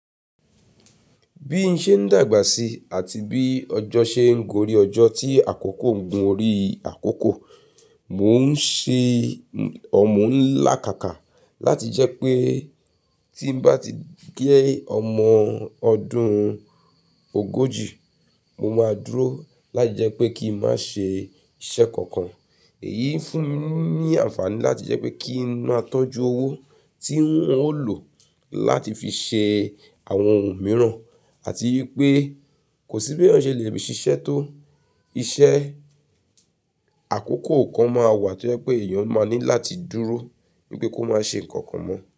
Bí i ṣe ń dàgbà sí àti bí ọjọ́ ṣe ń gorí ọjọ́ tí àkókò ń gun orí àkókò, mò ń ṣe ọ̀mù lákàkà láti jẹ́ pé tí n bá ti dé ọmọ ọdún ogójì, mo máa dúró láti jẹ́ pé kí n má ṣe iṣẹ́ kankan. Èyí fún mi ní àǹfààní láti jẹ́ pé kí n máa tọ́jú owó tí n ó lò láti fi ṣe àwọn ohun mìíràn àti wípé kò sí bí ènìyàn se fi ṣiṣẹ́ tó. Iṣẹ́ àkókò kan máa wà tí ó jẹ́ pé èèyàn ó máa ní láti dúró wípé kó máa ṣe ǹkan kan mọ́